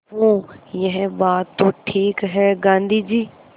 हूँ यह बात तो ठीक है गाँधी जी